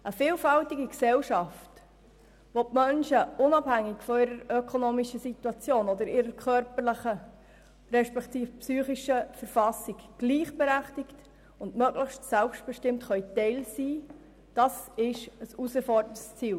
Eine vielfältige Gesellschaft, in der die Menschen unabhängig von ihrer ökonomischen Situation oder ihrer körperlichen beziehungsweise psychischen Verfassung gleichberechtigt und möglichst selbstbestimmt Teil sind, ist eine Herausforderung des Ziels.